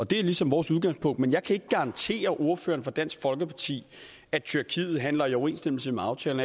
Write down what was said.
det er ligesom vores udgangspunkt men jeg kan ikke garantere ordføreren fra dansk folkeparti at tyrkiet handler i overensstemmelse med aftalen